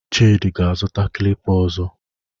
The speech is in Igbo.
Chidi ga-azụta klipa ọzọ.